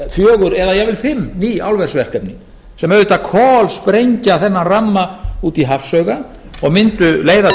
fjögur eða jafnvel fimm ný álversverkefni sem auðvitað kolsprengja þennan ramma út í hafsauga og myndu leiða til þess að ísland mundi margfalda heimsmet sitt